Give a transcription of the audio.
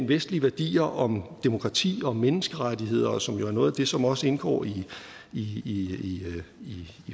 vestlige værdier om demokrati og menneskerettigheder som jo er noget af det som også indgår i